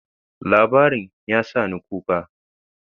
Labarin ya sa ni kuka.